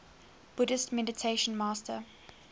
buddhist meditation master